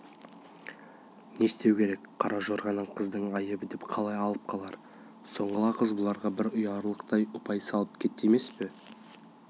не істеу керек қара жорғаны қыздың айыбы деп қалай алып қалар сұңғыла қыз бұларға бір ұяларлық ұпай салып кетті емес пе